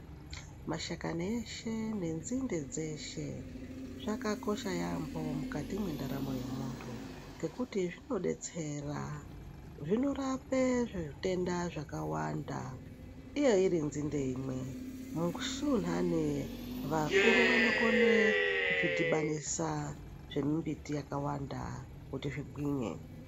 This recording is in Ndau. Mashakane eshe nendzimbe dzeshe, zvakakosha yambo mukati mendaramo yemuntu, ngekuti zvinodetsera. Zvinorape zvitenda zvakawanda. Iye irindzindemwe mukusunane vakuru vanokone kufidibanisa zvemimbiti yakawanda kuti zvigwinye.